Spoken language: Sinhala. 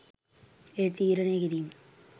එය තීරණය කිරීම